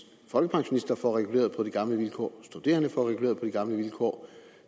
folkepensionister får reguleret på de gamle vilkår studerende får reguleret på de gamle vilkår